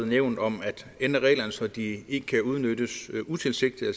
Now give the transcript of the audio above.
nævnt om at ændre reglerne så de ikke kan udnyttes utilsigtet og